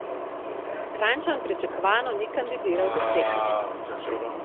Kranjčan pričakovano ni kandidiral za srečanje.